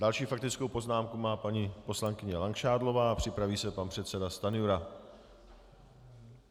Další faktickou poznámku má paní poslankyně Langšádlová a připraví se pan předseda Stanjura.